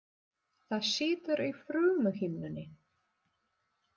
Það situr í frumuhimnunni.